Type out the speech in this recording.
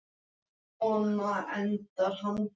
Og í draumnum hélt Rósa heim á leið.